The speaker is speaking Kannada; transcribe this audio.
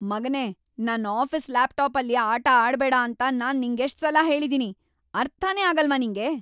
ಮಗನೇ, ನನ್ ಆಫೀಸ್ ಲ್ಯಾಪ್‌ಟಾಪಲ್ಲಿ ಆಟ ಆಡ್ಬೇಡ ಅಂತ ನಾನ್ ನಿಂಗೆಷ್ಟ್ ಸಲ ಹೇಳಿದೀನಿ? ಅರ್ಥನೇ ಆಗಲ್ವಾ ನಿಂಗೆ?!